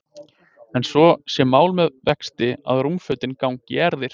En svo sé mál með vexti að rúmfötin gangi í erfðir.